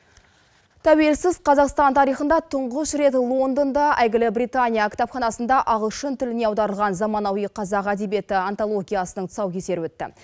тәуелсіз қазақстан тарихында тұңғыш рет лондонда әйгілі британия кітапханасында ағылшын тіліне аударылған заманауи қазақ әдебиеті антологиясының тұсаукесері өтті